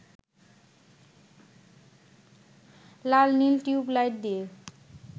লাল-নীল tube light দিয়ে